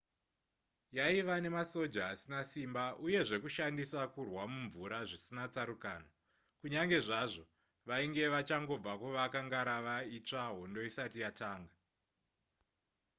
yaiva nemasoja asina simba uye zvekushandisa kurwa mumvura zvisina tsarukano kunyange zvazvo vainge vachangobva kuvaka ngarava itsva hondo isati yatanga